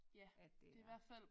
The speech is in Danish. At det er